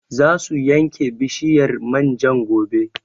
Za su yanke bishiyar man jan gobe